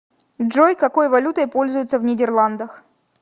джой какой валютой пользуются в нидерландах